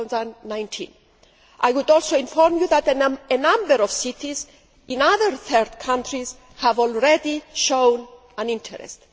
2019. I would also inform you that a number of cities in other third countries have already shown an interest.